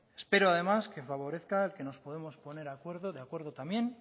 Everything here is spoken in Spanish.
espero además que favorezca que nos podamos poner de acuerdo también